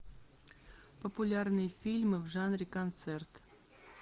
популярные фильмы в жанре концерт